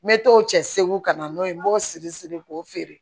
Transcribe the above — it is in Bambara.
Me to o cɛ segu ka na n'o ye n b'o siri siri k'o feere